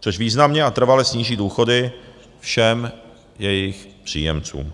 což významně a trvale sníží důchody všem jejich příjemcům.